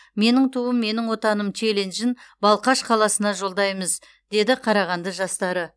менің туым менің отаным челленджін балқаш қаласына жолдаймыз дейді қарағанды жастары